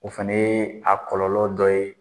O fana a kɔlɔlɔ dɔ ye